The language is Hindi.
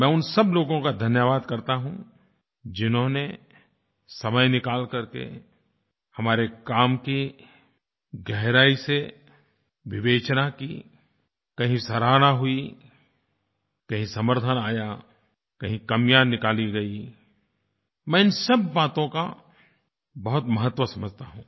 मैं उन सब लोगों का धन्यवाद करता हूँ जिन्होंने समय निकाल करके हमारे काम की गहराई से विवेचना की कहीं सराहना हुई कहीं समर्थन आया कहीं कमियाँ निकाली गई मैं इन सब बातों का बहुत महत्व समझता हूँ